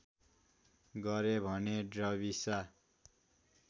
गरे भने ड्रविसा